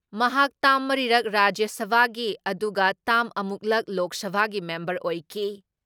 ꯃꯍꯥꯛ ꯇꯥꯝ ꯃꯔꯤꯔꯛ ꯔꯥꯖ꯭ꯌ ꯁꯚꯥꯒꯤ ꯑꯗꯨꯒ ꯇꯥꯝ ꯑꯃꯨꯛꯂꯛ ꯂꯣꯛ ꯁꯚꯥꯒꯤ ꯃꯦꯝꯕꯔ ꯑꯣꯏꯈꯤ ꯫